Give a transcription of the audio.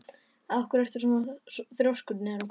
Af hverju ertu svona þrjóskur, Neró?